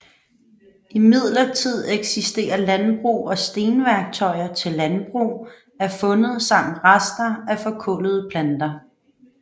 Imidlertid eksisterer landbrug og stenværktøjer til landbrug er fundet samt rester af forkullede planter